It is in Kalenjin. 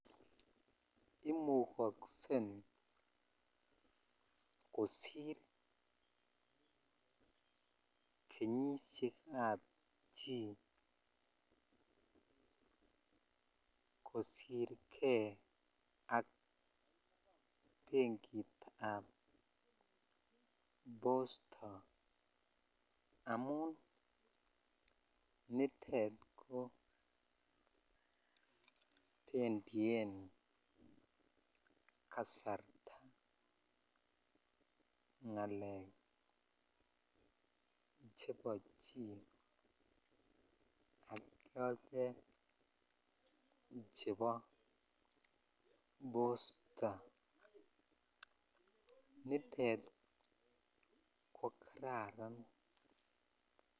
Imukosen kosir kenyishekab chii kosirjei ak benkitab posta amun nitet ko benduen kasarta ngalek chebo chii ak chotet chebo posta nitet ko kararan.